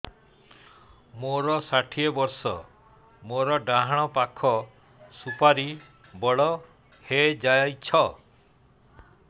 ମୋର ଷାଠିଏ ବର୍ଷ ମୋର ଡାହାଣ ପାଖ ସୁପାରୀ ବଡ ହୈ ଯାଇଛ